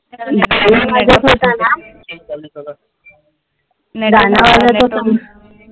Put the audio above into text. गाण वाजत होत ना, गाण वाजत होत